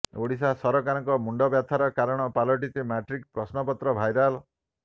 ଓଡ଼ିଶା ସରକାରଙ୍କ ମୁଣ୍ଡବ୍ୟାଥାର କାରଣ ପାଲଟିଛି ମାଟ୍ରିକ୍ ପ୍ରଶ୍ନପତ୍ର ଭାଇରାଲ୍